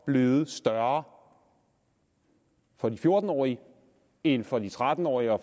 blevet større for de fjorten årige end for de tretten årige og